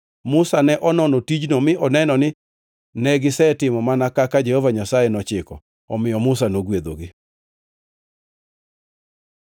Musa ne onono tijno mi oneno ni negisetimo mana kaka Jehova Nyasaye nochiko. Omiyo Musa nogwedhogi.